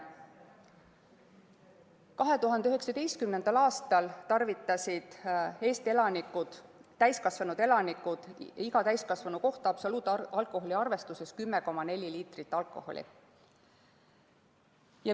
2019. aastal tarvitasid Eesti täiskasvanud elanikud iga täiskasvanu kohta absoluutalkoholi arvestuses 10,4 liitrit alkoholi.